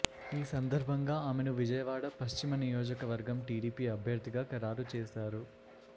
ఈ సందర్భంగా ఆమెను విజయవాడ పశ్చిమ నియోజవర్గం టీడీపీ అభ్యర్ధిగా ఖరారు చేశారు